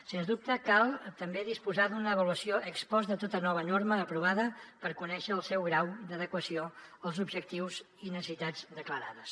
sens dubte cal també disposar d’una avaluació ex post de tota nova norma aprovada per conèixer el seu grau d’adequació als objectius i necessitats declarades